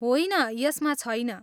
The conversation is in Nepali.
होइन, यसमा छैन।